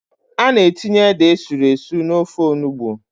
A na-etinye ede esuru esu n'ofe onugbo.